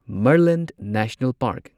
Murlen national park